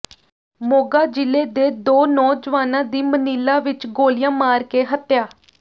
ਮੋਗਾ ਜ਼ਿਲ੍ਹੇ ਦੇ ਦੋ ਨੌਜਵਾਨਾਂ ਦੀ ਮਨੀਲਾ ਵਿਚ ਗੋਲੀਆਂ ਮਾਰ ਕੇ ਹੱਤਿਆ